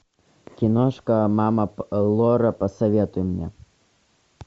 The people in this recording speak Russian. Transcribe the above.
киношка мама лора посоветуй мне